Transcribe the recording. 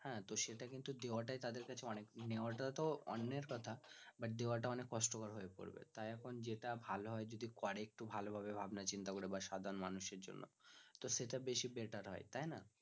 হ্যাঁ তো সেটা কিন্তু দেওয়াটাই তাদের কাছে অনেক নেওয়াটা তো অন্যের কথা but দেওয়াটা অনেক কষ্টের হয়ে পড়ে তাই এখন যেটা ভালো হয় যদি করে একটু ভালো ভাবে চিন্তা ভাবনা করে বা সাধারণ মানুষদের জন্য তো সেটা বেশি better হয় তাই না